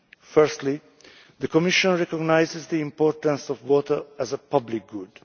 Firstly, the Commission recognises the importance of water as a public good.